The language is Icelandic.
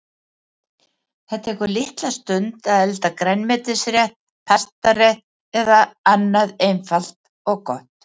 Það tekur litla stund að elda grænmetisrétt, pastarétt eða annað einfalt og gott.